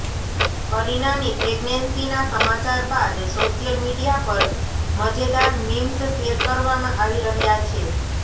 કરીનાની પ્રેગ્નન્સીના સમચાર બાદ સોશિયલ મીડિયા પર મજેદાર મીમ્સ શેર કરવામાં આવી રહ્યા છે